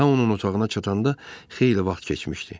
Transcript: Ta onun otağına çatanda xeyli vaxt keçmişdi.